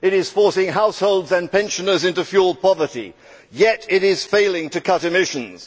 It is forcing households and pensioners into fuel poverty, yet it is failing to cut emissions.